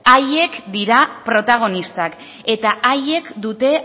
haiek dira protagonistak eta haiek dute